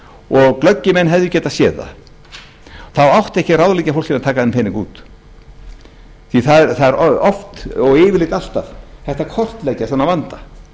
og glöggir menn hefðu getað séð það þá átti ekki að ráðleggja fólki að taka þennan pening út því það er og yfirleitt alltaf hægt að kortleggja svona vanda